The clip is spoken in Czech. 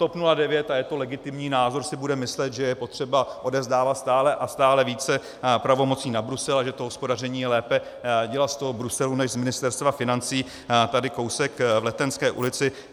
TOP 09, a je to legitimní názor, si bude myslet, že je potřeba odevzdávat stále a stále více pravomocí na Brusel a že to hospodaření je lépe dělat z toho Bruselu než z Ministerstva financí tady kousek v Letenské ulici.